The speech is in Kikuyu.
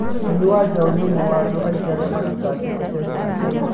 Jimmy Wanjaũ nĩ ũmwe wa andũ aingĩ arĩa mathitangĩte ceceni ĩyo.